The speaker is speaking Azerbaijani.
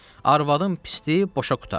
Arvadın pisdi, boşa qurtar.